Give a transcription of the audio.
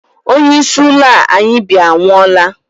onyeisi ụlọ a anyi bi anwụola